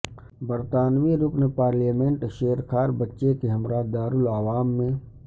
برطانوی رکن پارلیمنٹ شیرخوار بچے کے ہمراہ دارالعوام میں